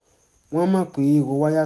wọ́n mọ̀ pé èrò wọn yà